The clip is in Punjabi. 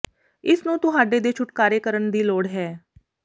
ਇਸ ਨੂੰ ਤੁਹਾਡੇ ਦੇ ਛੁਟਕਾਰੇ ਕਰਨ ਦੀ ਲੋੜ ਹੈ